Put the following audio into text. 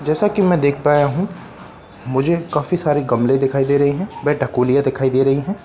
जैसा कि मैं देख पाया हूं मुझे काफी सारे गमले दिखाई दे रहे है वह ढकोनियां दिखाई दे रही है ।